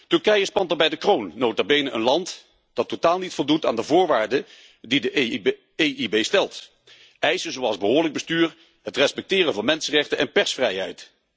Turkije spant daarbij de kroon, nota bene een land dat totaal niet voldoet aan de voorwaarden die de EIB stelt in verband met behoorlijk bestuur, het respecteren van mensenrechten en persvrijheid.